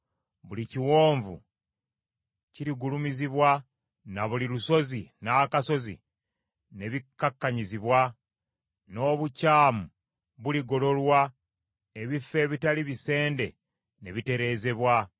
Buli kiwonvu kirigulumizibwa, na buli lusozi n’akasozi ne bikkakkanyizibwa. N’obukyamu buligololwa, ebifo ebitali bisende ne bitereezebwa.